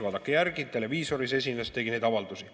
Vaadake järgi, televiisoris esinedes ta tegi neid avaldusi.